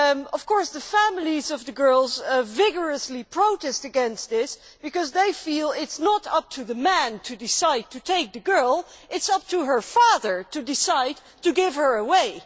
Of course, the families of the girls vigorously protest against this, because they feel it is not up to the men to decide to take the girl it is up to her father to decide to give her away.